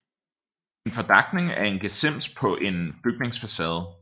En fordakning er en gesims på en bygningsfacade